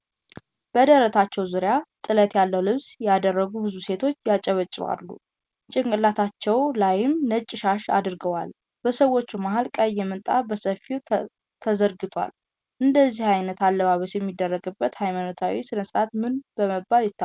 በደረታቸው ዙሪያ ጥለት ያለው ልብስን ያደረጉ ብዙ ሴቶች ያጨበጭባሉ። ጭንቅላታቸው ላይም ነጭ ሻሽን አድርገዋል። በሰዎቹ መሃል ቀይ ምንጣፍ በሰፊት ተዘርግቷል። እንደዚህ አይነት አለባበስ የሚደረግበት ሃይማኖታዊ ስነስርአት ምን በመባል ይታወቃል።